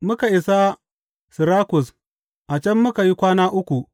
Muka isa Sirakus a can muka yi kwana uku.